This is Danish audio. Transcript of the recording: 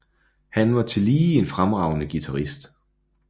Han var tillige en fremragende guitarist